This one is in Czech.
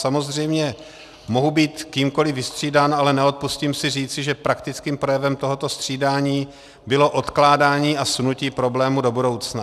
Samozřejmě mohu být kýmkoli vystřídán, ale neodpustím si říci, že praktickým projevem tohoto střídání bylo odkládání a sunutí problému do budoucna.